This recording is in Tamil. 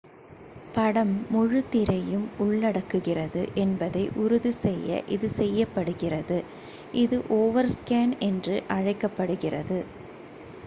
படம் முழு திரையும் உள்ளடக்குகிறது என்பதை உறுதி செய்ய இது செய்யப்படுகிறது இது ஓவர்ஸ்கேன் என்று அழைக்கப்படுகிறது